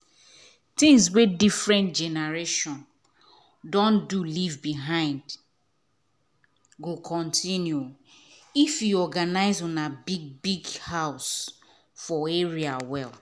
things wey different generations don do leave behind go continue if you organize una big-big house for area well.